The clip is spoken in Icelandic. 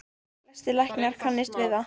Flestir læknar kannist við þær.